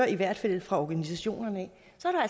i hvert fald fra organisationerne